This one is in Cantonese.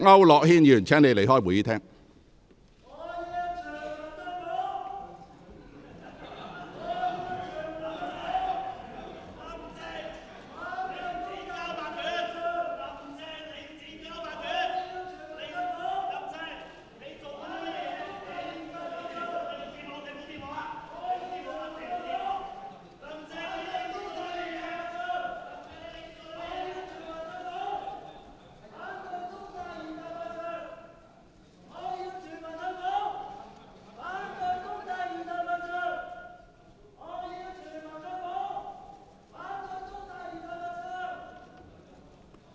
毛孟靜議員，請你離開會議廳。